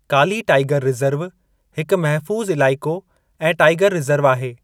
काली tiger reserve हिकु महफूज़ु इलाइक़ो ऐं टाईगर रिज़र्व आहे।